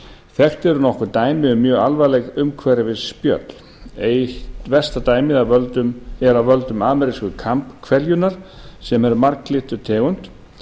þekkt eru nokkur dæmi um mjög alvarleg umhverfisspjöll eitt versta dæmið er af völdum amerísku kambhveljunnar sem er marglyttutegund hún